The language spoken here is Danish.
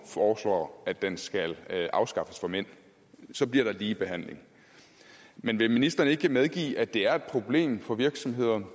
foreslår at den skal afskaffes for mænd så bliver der lige behandling men vil ministeren ikke medgive at det er et problem for virksomheder